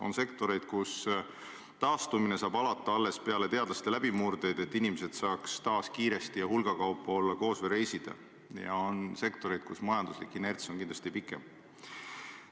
On sektoreid, kus taastumine saab alata alles peale teadlaste läbimurdeid, et inimesed saaks taas kiiresti ja hulgakaupa koos olla või reisida, ja on sektoreid, kus majanduslik inerts on kindlasti pikem.